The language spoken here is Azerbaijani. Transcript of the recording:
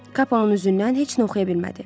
Kapın üzündən heç nə oxuya bilmədi.